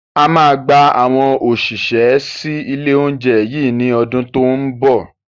A máa gba àwọn òṣìṣẹ́ sì ilé oúnjẹ yí ni ọdún to ń bọ̀